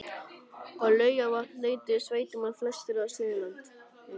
Á Laugarvatn leituðu sveitamenn, flestir af Suðurlandi